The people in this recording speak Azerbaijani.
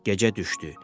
Gecə düşdü.